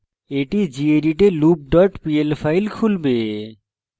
এটি gedit এ loop dot pl file খুলবে